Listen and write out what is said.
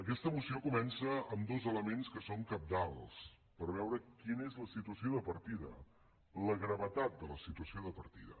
aquesta moció comença amb dos elements que són cabdals per veure quina és la situació de partida la gravetat de la situació de partida